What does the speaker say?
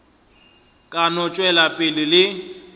ka no tšwela pele le